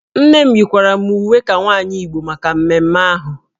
Nne m yikwara m uwe ka nwaanyị Igbo maka mmemme ahụ